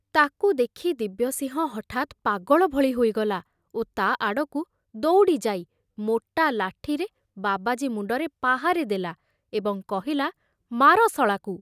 ତାକୁ ଦେଖି ଦିବ୍ୟସିଂହ ହଠାତ ପାଗଳ ଭଳି ହୋଇଗଲା ଓ ତା ଆଡ଼କୁ ଦଉଡ଼ି ଯାଇ ମୋଟା ଲାଠିରେ ବାବାଜୀ ମୁଣ୍ଡରେ ପାହାରେ ଦେଲା ଏବଂ କହିଲା, ମାର ଶଳାକୁ।